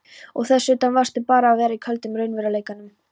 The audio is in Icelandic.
Og þess utan varðstu bara að vera í köldum raunveruleikanum.